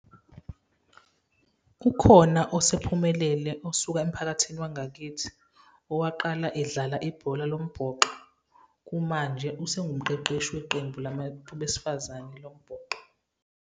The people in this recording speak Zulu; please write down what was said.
Ukhona osephumelele osuka emphakathini wangakithi owaqala edlala ibhola lombhoxo, kumanje usewumqeqeshi weqembu labantu besifazane lombhoxo.